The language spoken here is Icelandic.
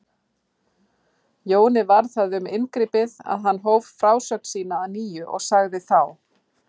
Jóni varð það um inngripið að hann hóf frásögn sína að nýju og sagði þá